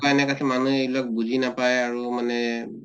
বা এনেকা আছে মানুহ লক বুজিয়ে নাপায় আৰু মানে